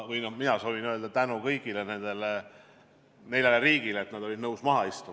Kõigepealt soovin ma avaldada tänu kõigile nendele neljale riigile, kes olid nõus koos laua taha istuma.